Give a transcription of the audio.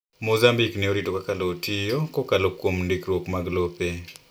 Mozambique ne orito kaka lowo tiyo kokalo kuom ndikruok mag lope.